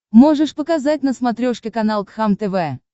можешь показать на смотрешке канал кхлм тв